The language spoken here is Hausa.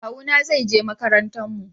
Kawu na zai je makarantar mu